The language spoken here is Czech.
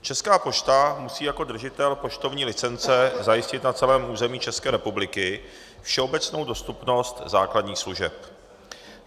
Česká pošta musí jako držitel poštovní licence zajistit na celém území České republiky všeobecnou dostupnost základních služeb.